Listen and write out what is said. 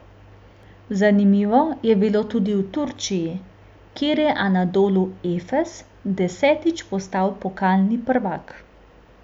Zanimivo je bilo tudi v Turčiji, kjer je Anadolu Efes desetič postal pokalni prvak.